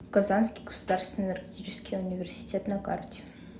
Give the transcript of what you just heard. казанский государственный энергетический университет на карте